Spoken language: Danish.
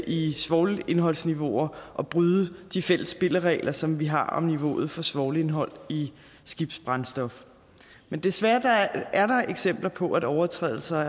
i svovlindholdsniveauer og bryde de fælles spilleregler som vi har om niveauet for svovlindhold i skibsbrændstof men desværre er der eksempler på at overtrædelser